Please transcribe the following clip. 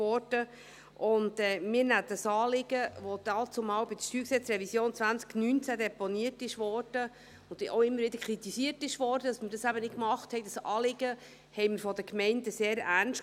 Wir nehmen dieses Anliegen der Gemeinden, welches bei der StG-Revision 2019 deponiert wurde – und auch immer wieder kritisiert wurde, dass wir dies nicht machten –, sehr ernst.